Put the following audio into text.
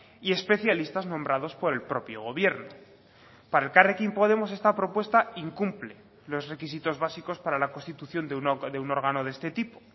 y especialistas nombrados por el propio gobierno para elkarrekin podemos esta propuesta incumple los requisitos básicos para la constitución de un órgano de este tipo